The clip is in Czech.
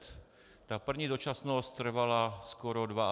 Ta první dočasnost trvala skoro 22 let.